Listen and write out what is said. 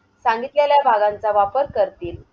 सांगितलेल्या भागांचा वापर करतील.